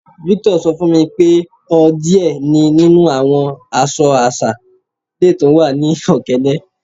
Victor sọ fun mi pé ọ diẹ̀ ni nínu awọn àṣọ̀ àṣà lẹ́ túń wà ni Okene.